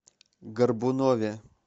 горбунове